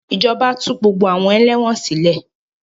Ìjọba tú gbogbo àwọn ẹlẹ́wọ̀n sile